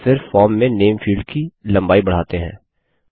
और फिर फॉर्म में नामे फील्ड की लम्बाई बढ़ाते हैं